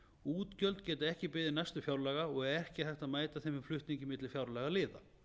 útgjöld geta ekki beðið næstu fjárlaga og ekki er hægt að mæta þeim með flutningi milli fjárlagaliða